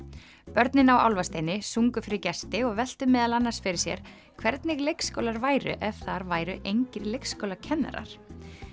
börnin á álfasteini sungu fyrir gesti og veltu meðal annars fyrir sér hvernig leikskólar væru ef þar væru engir leikskólakennarar